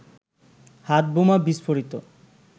হাতবোমা বিস্ফোরিত